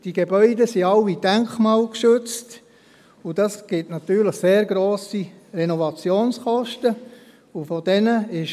Diese sind alle denkmalgeschützt, was natürlich sehr hohe Renovationskosten ergibt.